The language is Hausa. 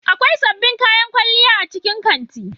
Akwai sabbin kayan kwalliya a cikin kanti.